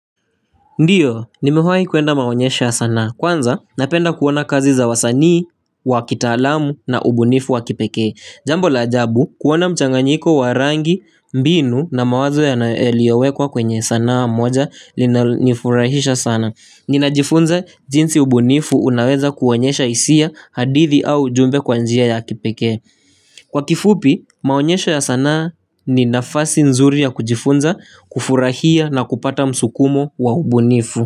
Ndiyo, nimewahi kuenda maonyesho ya sanaa. Kwanza, napenda kuona kazi za wasanii, wa kitalamu na ubunifu wa kipekee. Jambo la ajabu, kuona mchanganyiko wa rangi, mbinu na mawazo yanayo yaliyowekwa kwenye sanaa moja linanifurahisha sana. Ninajifunza jinsi ubunifu unaweza kuonyesha hisia hadithi au ujumbe kwa njia ya kipekee. Kwa kifupi maonyesho ya sanaa ni nafasi nzuri ya kujifunza kufurahia na kupata msukumo wa ubunifu.